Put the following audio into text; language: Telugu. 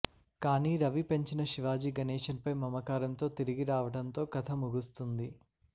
కానీ రవి పెంచిన శివాజీగణేషన్ పై మమకారంతో తిరిగి రావటంతో కథ ముగుస్తుంది